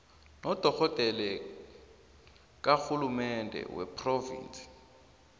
nodorhodere karhulumende wephrovinsi